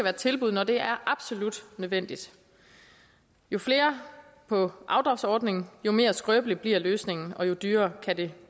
et tilbud når det er absolut nødvendigt jo flere på afdragsordningen jo mere skrøbelig bliver løsningen og jo dyrere kan det